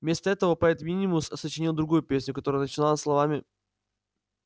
вместо этого поэт минимус сочинил другую песню которая начиналась словами